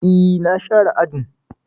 E, na share ajin.